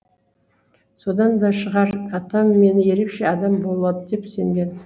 содан да шығар атам мені ерекше адам болады деп сенген